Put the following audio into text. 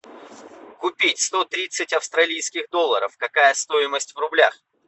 купить сто тридцать австралийских долларов какая стоимость в рублях